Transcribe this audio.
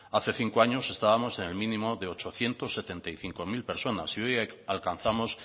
hace cinco años estábamos en el mínimo de ochocientos setenta y cinco mil personas y hoy alcanzamos